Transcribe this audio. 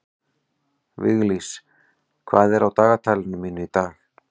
Viglís, hvað er á dagatalinu mínu í dag?